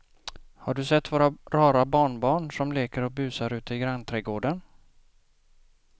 Har du sett våra rara barnbarn som leker och busar ute i grannträdgården!